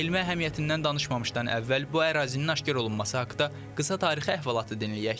Elmi əhəmiyyətindən danışmamışdan əvvəl bu ərazinin aşkarlanması haqda qısa tarixi əhvalatı dinləyək.